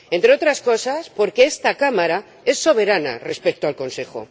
Entre otras cosas, porque esta Cámara es soberana respecto al Consejo.